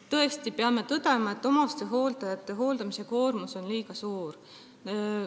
Tõesti peame tõdema, et omastehooldajate hoolduskoormus on liiga suur.